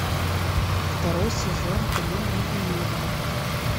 второй сезон кино невиновный